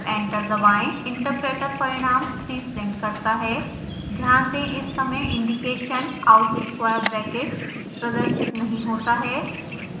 interpreter परिणांम 3 print करता है ध्यान दें इस समय इंडिकेशन out square brackets प्रदर्शित नहीं होता है